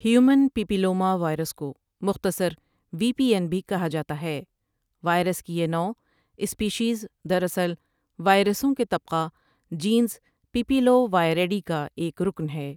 Human papilloma virus کو مختصر V P N بھی کہا جاتا ہے وائرس کی یہ نوع سپیشیز دراصل وائرسوں کے طبقہ جینس پـیـپـیـلووائریڈی کا ایک رکن ہے ۔